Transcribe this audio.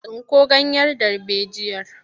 Tsinko ganyen darbejiyar!